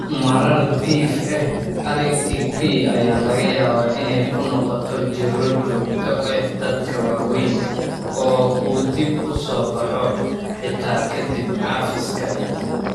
Marar dhif ah, ITP ayaa laga yaabaa inay ku noqoto jirro joogto ah dadka waaweyn oo uu dib u soo baxo, xitaa ka dib cafiska.